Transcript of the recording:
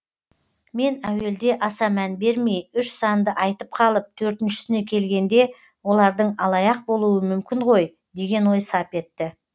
мен әуелде аса мән бермей үш санды айтып қалып төртіншісіне келгенде олардың алаяқ болуы мүмкін ғой деген ой сап етті